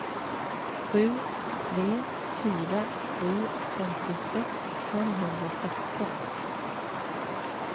sju tre fyra sju femtiosex femhundrasexton